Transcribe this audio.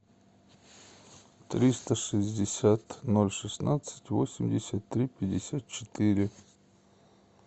триста шестьдесят ноль шестнадцать восемьдесят три пятьдесят четыре